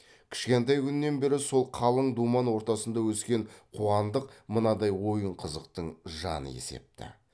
кішкентай күнінен бері сол қалың думан ортасында өскен қуандық мынадай ойын қызықтың жаны есепті